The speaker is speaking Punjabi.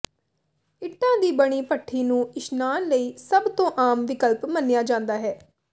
ਇੱਟਾਂ ਦੀ ਬਣੀ ਭੱਠੀ ਨੂੰ ਇਸ਼ਨਾਨ ਲਈ ਸਭ ਤੋਂ ਆਮ ਵਿਕਲਪ ਮੰਨਿਆ ਜਾਂਦਾ ਹੈ